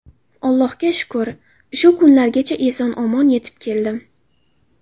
Allohga shukr, shu kunlargacha omon-eson yetib keldim.